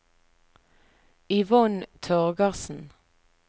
Yvonne Torgersen